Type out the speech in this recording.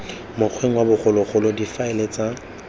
mokgweng wa bogologolo difaele tsa